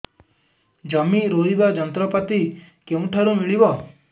ଜମି ରୋଇବା ଯନ୍ତ୍ରପାତି କେଉଁଠାରୁ ମିଳିବ